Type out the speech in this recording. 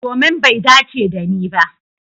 Domin bai dace dani ba.